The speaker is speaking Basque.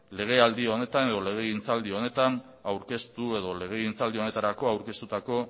legealdi honetan edo legegintzaldi honetarako aurkeztutako